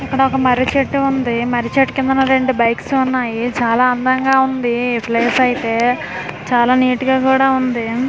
ఇక్కడ ఒక మర్రి చేటు ఉంది మర్రి చేటు కిందన రెండు బైక్స్ ఉన్నాయి చాలా అందంగా ఉంది ఈ ప్లేస్ అయితే చాలా నీట్ గా కూడా ఉంది.